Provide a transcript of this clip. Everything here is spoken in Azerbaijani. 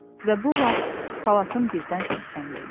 Və bu vaxt salatın birdən səsləndi.